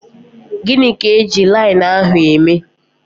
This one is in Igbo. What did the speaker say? Gịnị ka eji linenu ahụ eme?